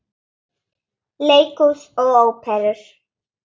Leikhús og Óperur